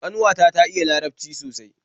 Kanwata ta iya larabci sosai